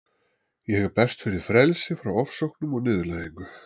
Ég berst fyrir frelsi frá ofsóknum og niðurlægingu.